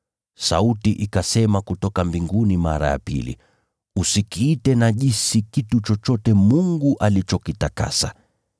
“Sauti ikasema kutoka mbinguni mara ya pili, ‘Usikiite najisi kitu chochote Mungu alichokitakasa.’